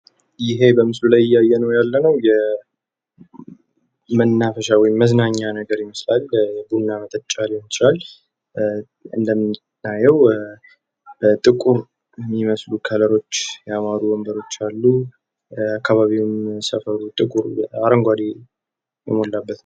ይኸ በምስሉ ላይ እያየነው ያለነው የመናፈሻ ወይም መዝናኛ ነገር ይመስላል። በቡና መጠጫ ሊሆን ይችላል እንደሚታየው ጥቁር የሚመስሉ ከለሮች ያሉአቸው የሚያምሩ ወንበሮች አሉ። አካባቢውም ሰፈሩ ጥቁር አረንጓዴ የሞላበት ነው።